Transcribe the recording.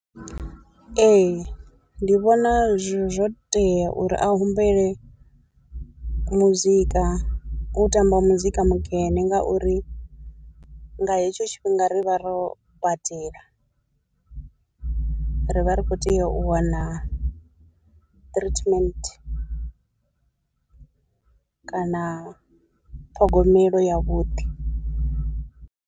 Ee ndi vhona zwo tea uri a humbele muzika u tamba muzika mukene ngauri nga hetsho tshifhinga ri vha ro badela, ri vha ri kho tea u wana treatment kana ṱhogomelo yavhuḓi.